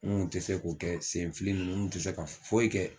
N kun te se k'o kɛ senfili nunnu nkun te se ka foyi kɛ